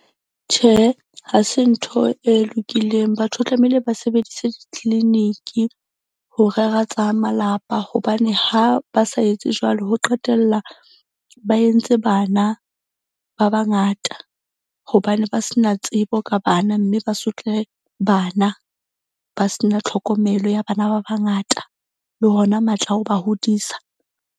Tjhe, ha se ntho e lokileng. Batho tlamehile ba sebedise di-clinic-i ho rera tsa malapa hobane ha ba sa etse jwalo ho qetella ba entse bana ba bangata. Hobane ba se na tsebo ka bana. Mme ba sotle bana ba se na tlhokomelo ya bana ba bangata. Le hona matla a ho ba hodisa.